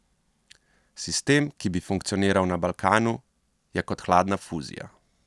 Sistem, ki bi funkcioniral na Balkanu, je kot hladna fuzija.